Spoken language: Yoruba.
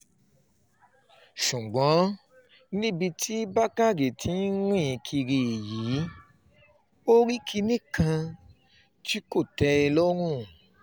ṣùgbọ́n níbi tí bàkàrẹ́ tí ń rìn kiri yìí ò rí kinní kan tí kò tẹ́ ẹ lọ́rùn